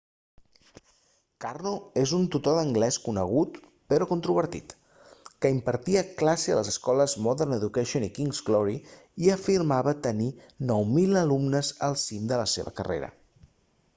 karno és un tutor d'anglès conegut però controvertit que impartia classes a les escoles modern education i king's glory i afirmava tenir 9.000 alumnes al cim de la seva carrera